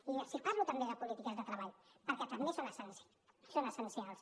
i els parlo també de polítiques de treball perquè també són essencials